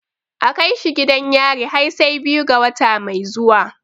A kai shi gidan yari har sai biyu ga wata mai zuwa.